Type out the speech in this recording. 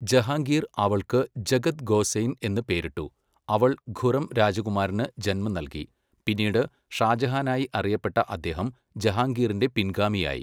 ജഹാംഗീർ അവൾക്ക് ജഗത് ഗോസെയ്ൻ എന്ന് പേരിട്ടു, അവൾ ഖുറം രാജകുമാരന് ജന്മം നൽകി, പിന്നീട് ഷാജഹാനായി അറിയപ്പെട്ട അദ്ദേഹം ജഹാംഗീറിന്റെ പിൻഗാമിയായി.